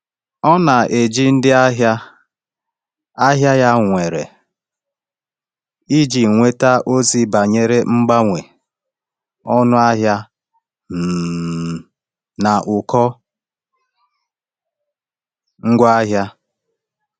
Ọ na-eji ndị ahịa ahịa ya nwere iji nweta ozi banyere mgbanwe ọnụ ahịa um na ụkọ ngwa ahịa.